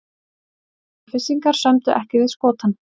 Selfyssingar sömdu ekki við Skotann